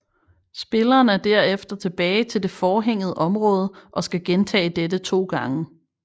Spilleren er derefter tilbage til det forhænget område og skal gentage dette to gange